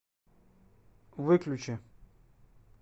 выключи